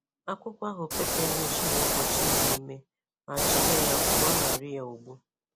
akwụkwọ ahụ peperish na-egbochi ime ime ma chebe ya pụọ na Rịa ogbu.